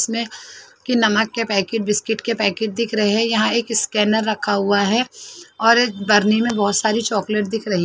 इसमें कि नमक के पैकेट बिस्किट के पैकेट दिख रहे हैं यहां एक स्कैनर रखा हुआ है और बर्नी में बहुत सारी चॉकलेट दिख रही है।